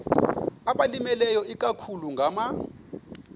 abalimileyo ikakhulu ngama